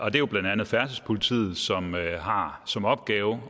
er jo blandt andet færdselspolitiet som har som opgave